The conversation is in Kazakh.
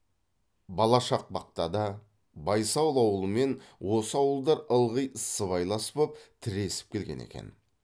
балашақпақта да байсал ауылымен осы ауылдар ылғи сыбайлас боп тіресіп келген екен